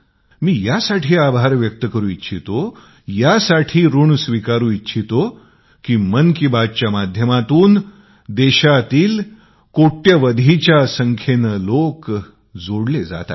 मी यासाठी आभार व्यक्त करू इच्छितो ऋण स्वीकार करू इच्छितो की मन की बात कार्यक्रमाच्या माध्यमातून देशातील करोडोंच्या संख्येने लॉग जोडले जात आहेत